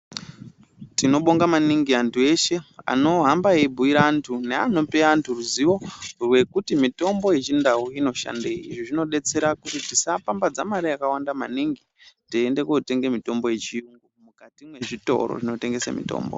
Tinobonga maningi antu eshe anohamba eibhuyire antu neanope antu ruzivo rwekuti mitombo yechindau inoshandei. Izvi zvinodetsera kuti tisapambadza mare yakawanda maningi teiende kotenge mitombo yechiyungu mukati mwezvitoro.